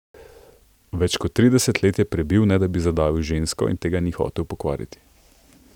Več kot trideset let je prebil, ne da bi zadavil žensko, in tega ni hotel pokvariti.